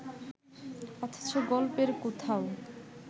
অথচ গল্পের কোথাও